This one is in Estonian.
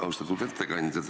Austatud ettekandja!